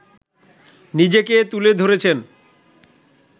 নিজেকে তুলে ধরেছেন